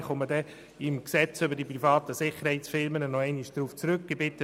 ich werde im Rahmen der Beratung des Gesetzes über die privaten Sicherheitsfirmen darauf zurückkommen.